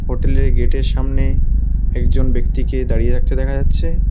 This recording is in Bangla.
হোটেল -এর গেট -এর সামনে একজন ব্যক্তিকে দাঁড়িয়ে থাকতে দেখা যাচ্ছে।